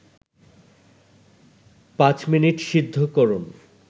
৫ minute সিদ্ধ করুন